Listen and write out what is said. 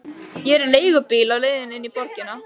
Ég er í leigubíl á leiðinni inn í borgina.